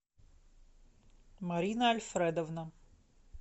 марина альфредовна